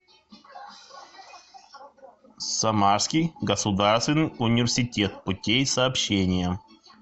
самарский государственный университет путей сообщения